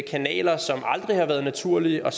kanaler som aldrig har været naturlige og